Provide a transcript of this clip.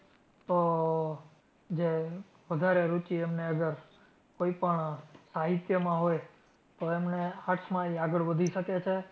તો વધારે જે રુચિ એમને અગર કોઈ પણ સાહિત્યમાં હોય તો એમને arts માં ઈ આગળ વધી શકે છે.